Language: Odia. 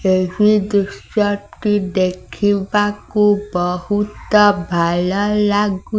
ଏହି ଦୃଶ୍ୟ ଟି ଦେଖିବାକୁ ବହୁତ ଭଲ ଲାଗୁ --